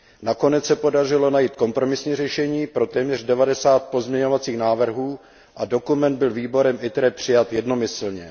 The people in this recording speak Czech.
Nakonec se podařilo najít kompromisní řešení pro téměř 90 pozměňovacích návrhů a dokument byl výborem ITRE přijat jednomyslně.